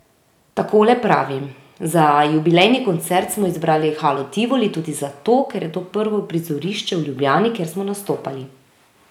Takole pravi: 'Za jubilejni koncert smo izbrali Halo Tivoli tudi zato, ker je to prvo prizorišče v Ljubljani, kjer smo nastopali.